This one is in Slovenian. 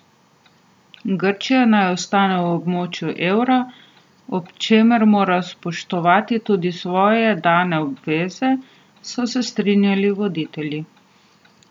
Grčija naj ostane v območju evra, ob čemer mora spoštovati tudi svoje dane obveze, so se strinjali voditelji.